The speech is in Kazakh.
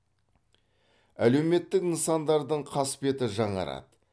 әлеуметтік нысандардың қасбеті жаңарады